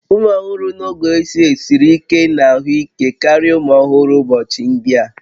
Ụmụ ọhụrụ n'oge ochie siri ike na ahụike karịa ụmụ ọhụrụ ụbọchị ndị a